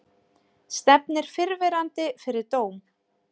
Stefnir fyrrverandi fyrir dóm